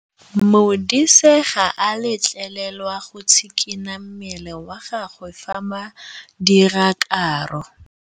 Modise ga a letlelelwa go tshikinya mmele wa gagwe fa ba dira karô.